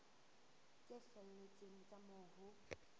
tse felletseng tsa moo ho